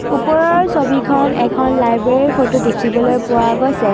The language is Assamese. ওপৰৰ ছবিখন এখন লাইব্ৰেৰীৰ ফটো দেখিবলৈ পোৱা গৈছে।